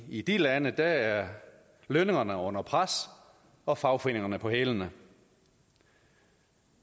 i de lande er lønningerne under pres og fagforeningerne på hælene